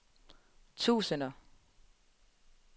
tusinder